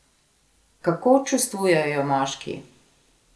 Kako čustvujejo moški?